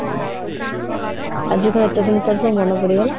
ଆଜି କଣ ଏତେ ଦିନ ପରେ ସବୁ ମନେ ପଡିଗଲା?